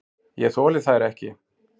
Ég þoli þær ekki.